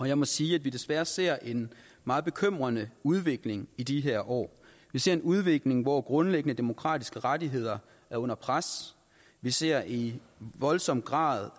jeg må sige at vi desværre ser en meget bekymrende udvikling i de her år vi ser en udvikling hvor grundlæggende demokratiske rettigheder er under pres vi ser i voldsom grad